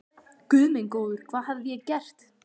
Guð minn góður, hvað hafði ég gert?